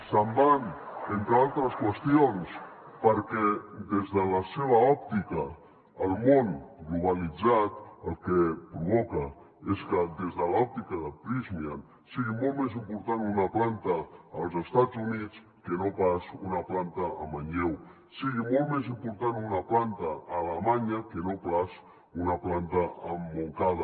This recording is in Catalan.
se’n van entre altres qüestions perquè des de la seva òptica el món globalitzat el que provoca és que des de l’òptica de prysmian sigui molt més important una planta als estats units que no pas una planta a manlleu sigui molt més important una planta a alemanya que no pas una planta a montcada